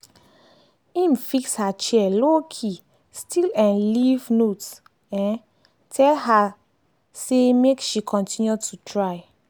im fix her chair lowkey still um leave note um tell her say make she continue to try.